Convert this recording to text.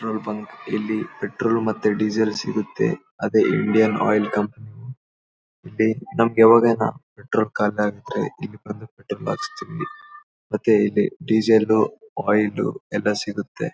Petrol bunk ಇಲ್ಲಿ petrol ಮತ್ತೆ diesel ಸಿಗುತ್ತೆ ಅದೇ ಇಂಡಿಯನ್ ಆಯಿಲ್ ಕಂಪನಿ ಇಲ್ಲಿ ನಮಗೆ ಯಾವಾಗನ ಪೆಟ್ರೋಲ್ ಖಾಲಿ ಆದ್ರೆ ಇಲ್ಲಿ ಬಂದು ಪೆಟ್ರೋಲ್ ಹಾಕ್ಸ್ತಿವಿ ಮತ್ತೆ ಇಲ್ಲಿ ಡೀಸೆಲ್ ಆಯಿಲ್ ಎಲ್ಲ ಸಿಗುತ್ತೆ.